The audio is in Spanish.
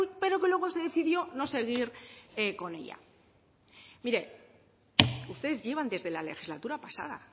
pero que luego se decidió no seguir con ella mire ustedes llevan desde la legislatura pasada